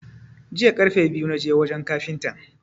Jiya karfe biyu na je wajan kafintan.